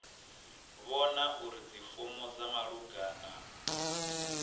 vhona uri dzifomo dza malugana